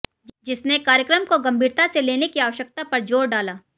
जिसने कार्यक्रम को गंभीरता से लेने की आवश्यकता पर जोर डाला